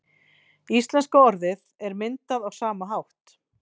Íslenska orðið er myndað á sama hátt.